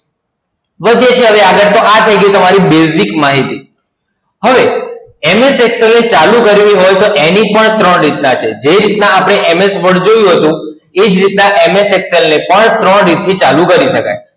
વધીએ છીએ હવે આગળ તો આ થઈ ગઈ તમારી basic માહિતી. હવે, MS Excel ને ચાલુ કરવી હોય તો એની પણ ત્રણ રીતના છે. જે રીતના આપણે MS Word જોયું હતું, એ જ રીતના MS Excel ને પણ ત્રણ રીતથી ચાલુ કરી શકાય.